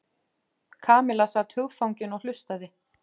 Kamilla sat hugfangin og hlustaði.